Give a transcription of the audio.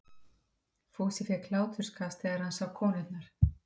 Fúsi fékk hláturskast þegar hann sá konurnar.